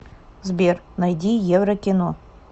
сбер найди еврокино